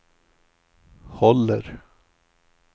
håller